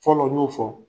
Fɔlɔ n y'o fɔ